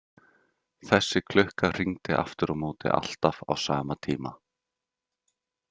Þessi klukka hringdi aftur á móti alltaf á sama tíma.